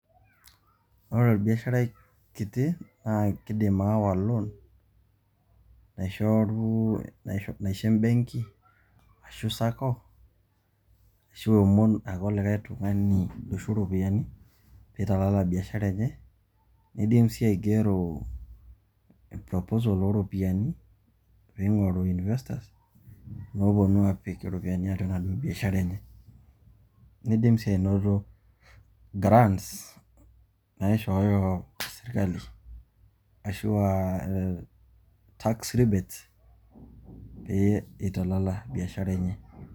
Ore orbiasharai kiti naa kidim aawa loan naisho embenki, ashu sacco, ashu eomon ake olikai tung'ani oisho ropiani pee italala biashara enye, niidim sii aigero proposal o ropiani pee ing'oru investors looponu aapik iropiani atua ina biashara enye. niidim sii ainoto grants naishooyo sirkali ashu a tax rebates pee italala biashara enye.